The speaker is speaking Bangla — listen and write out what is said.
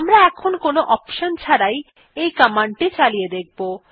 আমরা এখন কোন অপশন ছাড়াই এই কমান্ডটি চালিয়ে দেখব